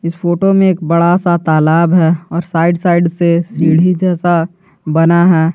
इस फोटो में एक बड़ा सा तालाब है और साइड साइड से सीधी जैसा बना है।